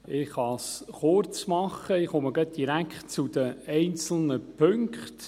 Ich kann es kurz machen, ich komme gerade direkt zu den einzelnen Punkten.